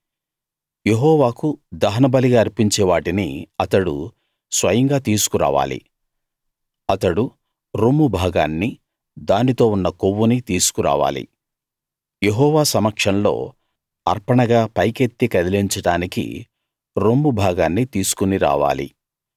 యెహోవాకు దహనబలిగా అర్పించే వాటిని అతడు స్వయంగా తీసుకు రావాలి అతడు రొమ్ము భాగాన్నీ దానితో ఉన్న కొవ్వునీ తీసుకురావాలి యెహోవా సమక్షంలో అర్పణగా పైకెత్తి కదిలించడానికి రొమ్ము భాగాన్ని తీసుకుని రావాలి